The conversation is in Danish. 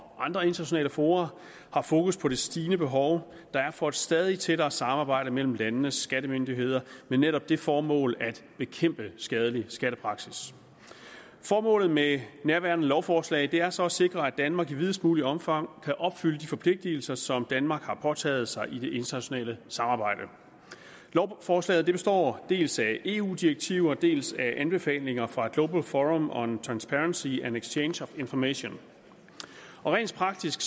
andre internationale fora har fokus på det stigende behov der er for et stadig tættere samarbejde mellem landenes skattemyndigheder med netop det formål at bekæmpe skadelig skattepraksis formålet med nærværende lovforslag er så at sikre at danmark i videst muligt omfang kan opfylde de forpligtelser som danmark har påtaget sig i det internationale samarbejde lovforslaget består dels af eu direktiver dels af anbefalinger fra global forum on transparency and exchange of information rent praktisk